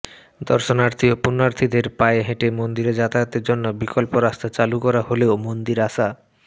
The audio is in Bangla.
দর্শনার্থী ও পুণ্যার্থীদের পায়ে হেঁটে মন্দিরে যাতায়াতের জন্য বিকল্প রাস্তা চালু করা হলেও মন্দিরে আসা